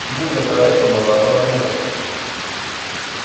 Imuchi kotoret komong' kabarunoik